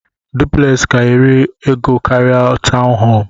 Duplex ka eri ego karia tọwn home.